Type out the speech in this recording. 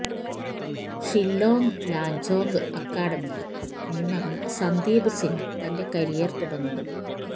ഷില്ലോംഗ് ലജോംഗ് അക്കാഡമിയില് നിന്നാണ് സന്ദീപ് സിംഗ് തന്റെ കരിയര് തുടങ്ങുന്നത്